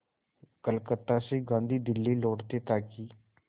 कलकत्ता से गांधी दिल्ली लौटे ताकि